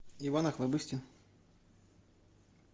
иван охлобыстин